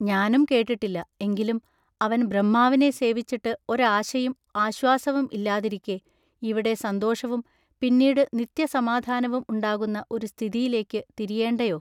ഞാനും കേട്ടിട്ടില്ല. എങ്കിലും അവൻ ബ്രഹ്മാവിനെ സേവിച്ചിട്ടു ഒരാശയും ആശ്വാസവും ഇല്ലാതിരിക്കെ ഇവിടെ സന്തോഷവും പിന്നീടു നിത്യസമാധാനവും ഉണ്ടാകുന്ന ഒരു സ്ഥിതിയിലേക്കു തിരിയേണ്ടയൊ.